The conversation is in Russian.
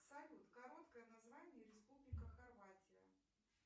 салют короткое название республика хорватия